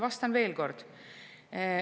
Ja ma vastan veel kord.